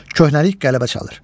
Köhnəlik qələbə çalır.